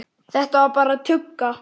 Þetta var bara tugga.